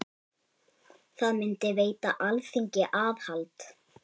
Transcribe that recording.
Það myndi veita Alþingi aðhald.